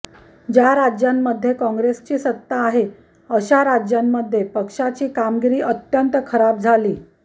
ज्या राज्यांमध्ये कांग्रेसची सत्ता आहे अशा राज्यांमध्ये पक्षाची कामगिरी अत्यंत खराब झाली